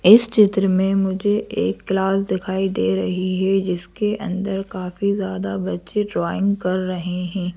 इस चित्र में मुझे एक क्लास दिखाई दे रही है जिसके अंदर काफी ज्यादा बच्चे ड्राइंग कर रहे हैं।